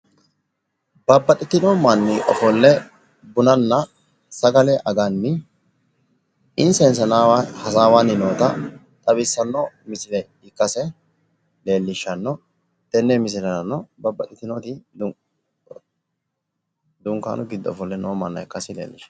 Babbaxxitino manni ofolle bunanna sagale aganni insa insanaawa hasaawanni noota xawissanno misile ikkase leellishshanno. Tenne misilerano babbaxxitinoti dunkaanu giddo ofolle noo manna ikkase leellishshanno.